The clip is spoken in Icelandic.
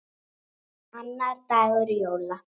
Annar dagur jóla.